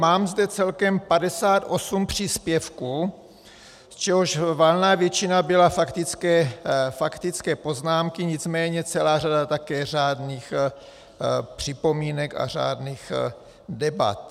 Mám zde celkem 58 příspěvků, z čehož valná většina byla faktické poznámky, nicméně celá řada také řádných připomínek a řádných debat.